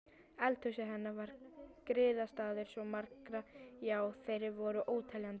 Eldhúsið hennar var griðastaður svo margra, já þeir voru óteljandi.